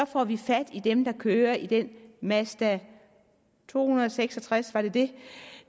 får vi fat i dem der kører i den mazda to hundrede og seks og tres var det det